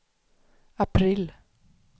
april